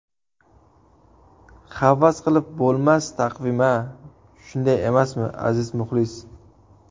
Havas qilib bo‘lmas taqvim-a, shunday emasmi, aziz muxlis?